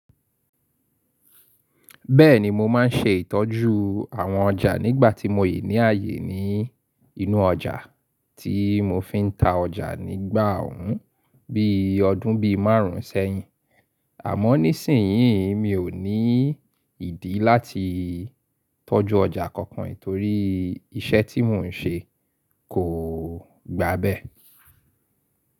Bẹ́ẹ̀ni mo má n ṣe ìtọ́jú àwọn ọjà nígbà tí mo yí ní ààyè ní inú ọjà tí mo fi n ta ọjà nígbà òun bí i ọdún bí i márùn sẹ́yìn. Àmọ́ nísìnyí mi ò ní ìdí láti tọ́jú ọjà kankan torí iṣẹ́ tí mò n ṣe kò gba bẹ́ẹ̀.